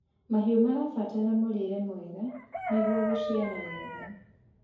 mahiũ marabatara mũrĩre mwega nĩguo guciarithia wega